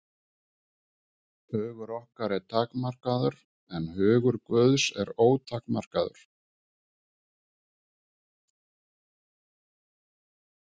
Hugur okkar er takmarkaður, en hugur Guðs er ótakmarkaður.